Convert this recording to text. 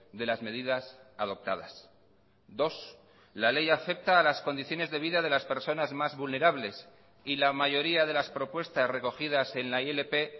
de las medidas adoptadas dos la ley afecta a las condiciones de vida de las personas más vulnerables y la mayoría de las propuestas recogidas en la ilp